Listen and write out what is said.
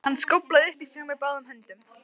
Hann skóflaði upp í sig með báðum höndum.